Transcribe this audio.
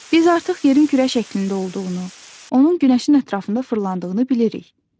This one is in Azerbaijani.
Biz artıq yerin kürə şəklində olduğunu, onun günəşin ətrafında fırlandığını bilirik.